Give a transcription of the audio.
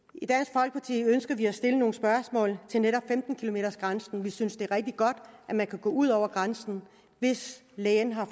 i ønsker vi at stille nogle spørgsmål til netop femten kilometersgrænsen vi synes at det er rigtig godt at man kan gå ud over grænsen hvis lægen har